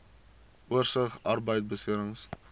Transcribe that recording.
oorsig arbeidbeserings